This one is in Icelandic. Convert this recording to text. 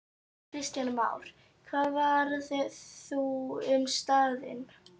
Kristján Már: Hvað verður þá um staðinn?